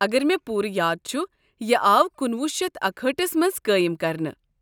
اگر مےٚ پوٗرٕ یاد چھُ، یہ آو کُنوُہ شیتھ اکہأٹھَس منٛز قٲیم کرنہٕ۔